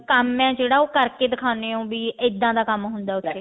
ਕੰਮ ਹੀ ਜਿਹੜਾ ਉਹ ਕਰਕੇ ਦਿਖਾਉਂਦੇ ਹੋ ਵੀ ਇੱਦਾਂ ਦਾ ਕੰਮ ਹੁੰਦਾ ਉੱਥੇ